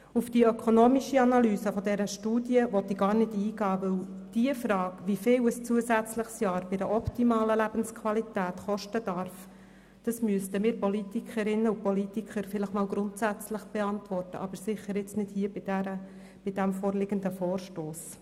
Auf die ökonomische Analyse dieser Studie will ich gar nicht eingehen, denn die Frage, wie viel ein zusätzliches Jahr bei einer optimalen Lebensqualität kosten darf, müssten wir Politikerinnen und Politiker vielleicht einmal grundsätzlich beantworten, aber sicher nicht jetzt bei dem vorliegenden Vorstoss.